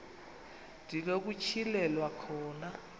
ndi nokutyhilelwa khona